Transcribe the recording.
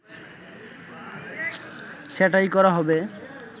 সেটাই করা হবে